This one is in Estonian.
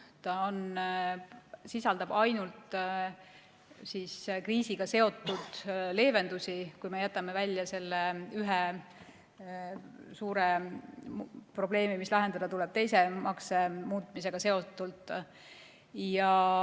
Ta sisaldab ainult kriisiga seotud leevendusi, kui jätame välja selle ühe suure probleemi, mis tuleb lahendada teise makse muutmisega seoses.